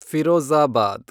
Firozabad